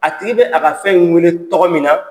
A tigi bɛ a ka fɛn in wele tɔgɔ min na